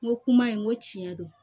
N ko kuma in n ko tiɲɛ don